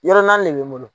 Yɔrɔ naani de bɛ n bolo